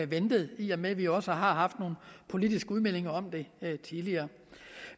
ventet i og med vi også har haft nogle politiske udmeldinger om det tidligere